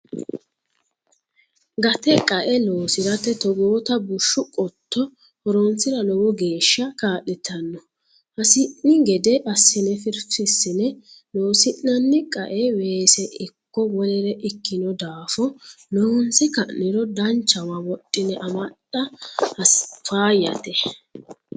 Gate qae loosirate togootta bushshu qotto horonsira lowo geeshsha kaa'littano hasi'ni gede assine firfisine loosi'nanni qae weese ikko wolere ikkino daafo loonse ka'niro danchawa wodhine amaxa faayyate.